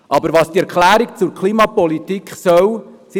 Aber was die Erklärung zur Klimapolitik tun soll, ist folgendes: